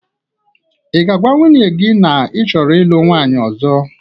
Ị ga-agwa nwunye gị na ị chọrọ ịlụ nwunye ọzọ?